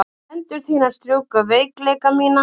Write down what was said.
Hendur þínar strjúka veikleika mína.